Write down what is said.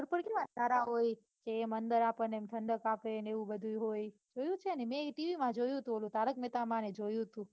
એટલે આપણને ઠંડક આપડે ને એવું બધું ય હોય જોયું છે ને મેં ઈ ટીવી માં જોયું તું ઓલું તારક મેહ્તા માં ને એમાં જોયું તું